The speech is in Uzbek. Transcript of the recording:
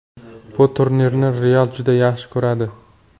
Bu turnirni ‘Real’ juda yaxshi ko‘radi.